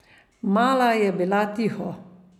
Mala je bila tiho.